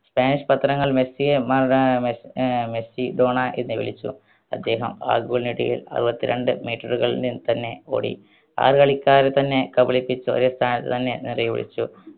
spanish പത്രങ്ങൾ മെസ്സിയെ മ ഏർ മെ ഏർ മെസ്സി ഡോണ എന്ന് വിളിച്ചു അദ്ദേഹം ആ goal നേടിയ അറുവത്രണ്ട് meter കൾ നിന്ന് തന്നെ ഓടി ആറ് കളിക്കാരെ തന്നെ കബളിപ്പിച്ച് ഒരു സ്ഥാനം തന്നെ നിർവ്വഹിച്ചു